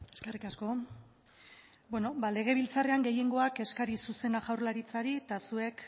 eskerrik asko legebiltzarrean gehiengoak eskari zuzena jaurlaritzari eta zuek